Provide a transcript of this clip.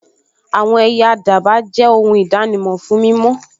Àwọn ẹyẹ àdàbà jẹ́ ohun ìdánimọ̀ fún mímọ́